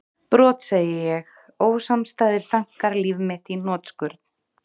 Brot, segi ég, ósamstæðir þankar líf mitt í hnotskurn?